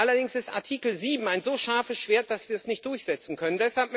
Allerdings ist Artikel 7 ein so scharfes Schwert, dass wir es nicht durchsetzen können.